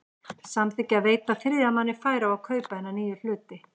samþykkja að veita þriðja manni færi á að kaupa hina nýju hluti.